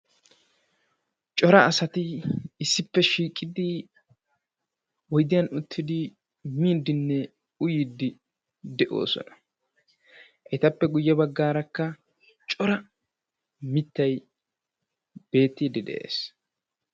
cora asati issippe shiiqidi oydiyan utiddi miiddinne uyiiddi de"oosona. Etappe guye baggaaraka cora mittay beettiidi de"es.